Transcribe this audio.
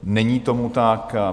Není tomu tak.